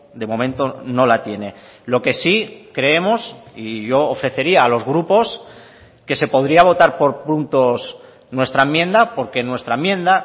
de momento no la tiene lo que sí creemos y yo ofrecería a los grupos que se podría votar por puntos nuestra enmienda porque nuestra enmienda